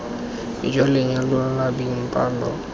jwa lenyalo la beng palo